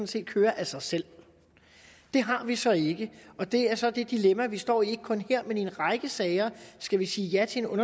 set køre af sig selv det har vi så ikke og det er så det dilemma vi står i ikke kun her men i en række sager skal vi sige ja til en